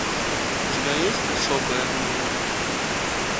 у тебя есть особое мнение